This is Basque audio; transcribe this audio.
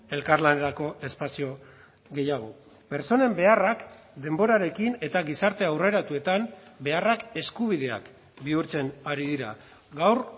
elkarlanerako espazio gehiago pertsonen beharrak denborarekin eta gizarte aurreratuetan beharrak eskubideak bihurtzen ari dira gaur